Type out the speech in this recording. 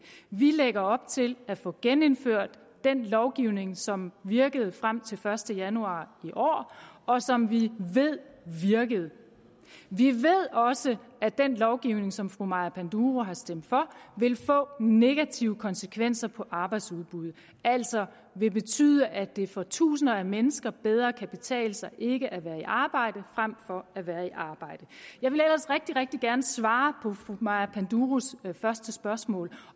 vi lægger op til at få genindført den lovgivning som virkede frem til den første januar i år og som vi ved virkede vi ved også at den lovgivning som fru maja panduro har stemt for vil få negative konsekvenser på arbejdsudbuddet altså vil betyde at det for tusinder af mennesker bedre kan betale sig ikke at være i arbejde frem for at være i arbejde jeg ville ellers rigtig gerne svare på fru maja panduros første spørgsmål